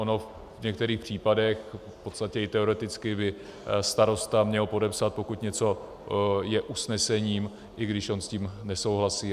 Ono v některých případech, v podstatě i teoreticky by starosta měl podepsat, pokud něco je usnesením, i když on s tím nesouhlasí.